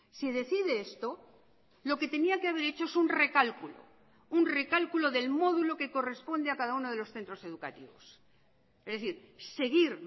si decide esto lo que tenía que haber hecho es un recálculo un recálculo del módulo que corresponde a cada uno de los centros educativos es decir seguir